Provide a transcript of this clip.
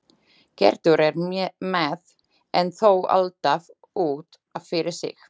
Gerður er með- en þó alltaf út af fyrir sig.